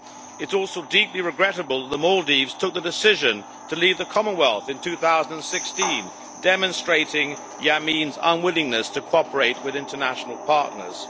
It is also deeply regrettable that the Maldives took the decision to leave the Commonwealth in 2016, demonstrating Yameen's unwillingness to cooperate with international partners.